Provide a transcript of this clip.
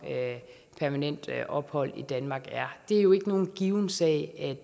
permanent ophold i danmark er det er jo ikke nogen given sag